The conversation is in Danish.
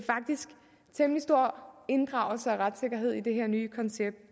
temmelig stor inddragelse af retssikkerhed i det her nye koncept